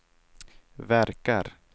verkar